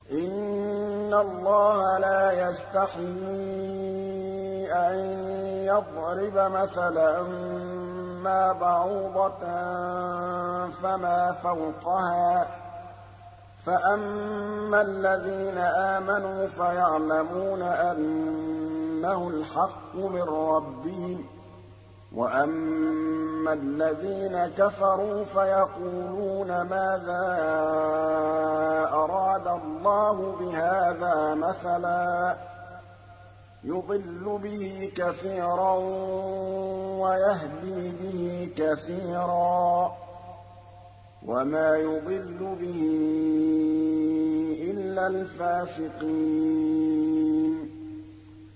۞ إِنَّ اللَّهَ لَا يَسْتَحْيِي أَن يَضْرِبَ مَثَلًا مَّا بَعُوضَةً فَمَا فَوْقَهَا ۚ فَأَمَّا الَّذِينَ آمَنُوا فَيَعْلَمُونَ أَنَّهُ الْحَقُّ مِن رَّبِّهِمْ ۖ وَأَمَّا الَّذِينَ كَفَرُوا فَيَقُولُونَ مَاذَا أَرَادَ اللَّهُ بِهَٰذَا مَثَلًا ۘ يُضِلُّ بِهِ كَثِيرًا وَيَهْدِي بِهِ كَثِيرًا ۚ وَمَا يُضِلُّ بِهِ إِلَّا الْفَاسِقِينَ